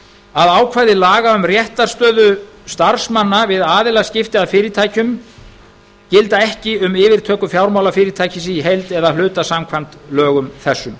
að ákvæði laga um réttarstöðu starfsmanna við aðilaskipti að fyrirtækjum gilda ekki um yfirtöku fjármálafyrirtækisins í heild eða að hluta samkvæmt lögum þessum